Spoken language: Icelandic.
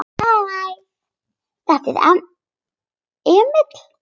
Hæ, þetta er Emil.